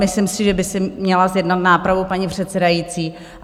Myslím si, že by si měla zjednat nápravu paní předsedající.